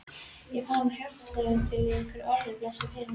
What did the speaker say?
Ég fann hjartaslög þín í hverju orði, blessuð vina mín.